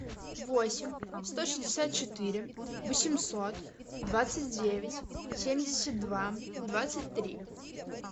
восемь сто шестьдесят четыре восемьсот двадцать девять семьдесят два двадцать три